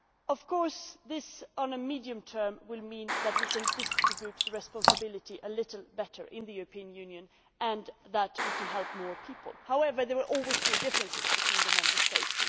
Of course, in the medium term this will mean that we can distribute the responsibility a little better in the European Union and that we can help more people. However, there will always be differences between the Member States.